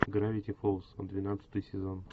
гравити фолз двенадцатый сезон